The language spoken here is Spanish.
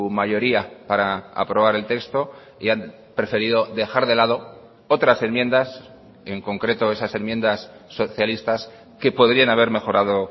mayoría para aprobar el texto y han preferido dejar de lado otras enmiendas en concreto esas enmiendas socialistas que podrían haber mejorado